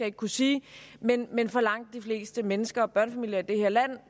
ikke kunne sige men men for langt de fleste mennesker og børnefamilier i det her land